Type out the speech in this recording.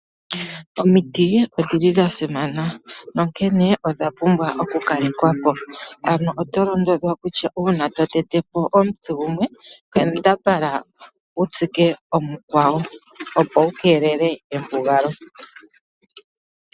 Omiti odhili dha simana, onkene odha pumbwa oku kalekwapo. Ano oto londodhwa kutya uuna to tete po omuti gumwe kambadhala wutsike omukwawo opo wukeelele embugalo.